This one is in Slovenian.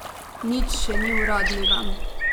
Nič še nič uradnega.